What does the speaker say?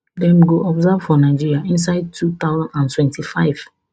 dem go observe for nigeria inside two thousand and twenty-five